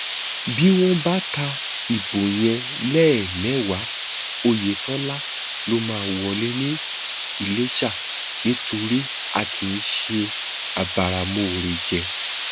bí wọn bá ka ìbò yẹn lẹẹmẹwàá ọyẹtọlá ló máa wọlé ní iléṣà nítorí a kì í ṣe abáramọọrẹjẹ